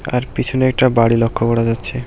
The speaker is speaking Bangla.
তার পেছনে একটা বাড়ি লক্ষ্য করা যাচ্ছে।